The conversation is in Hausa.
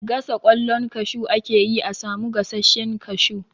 Gasa ƙwallon kashu ake yi a samu gasashen kashu.